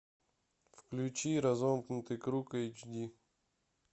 включи разомкнутый круг эйч ди